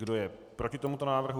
Kdo je proti tomuto návrhu?